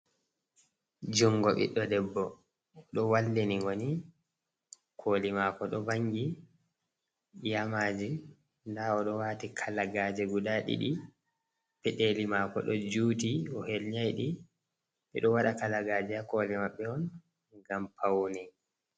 Jungo ɓiɗɗo debbo oɗo wallini goni koli mako ɗo vangi yamaji nda oɗo wati kalagaje guda ɗiɗi pedeli mako ɗo juti o helnai ɗi ɓe ɗo waɗa kalagaje ha koli maɓɓe on ngam paune.